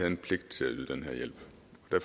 en pligt til at yde den her hjælp